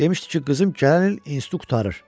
Demişdi ki, qızım gələn il institutu qurtarır."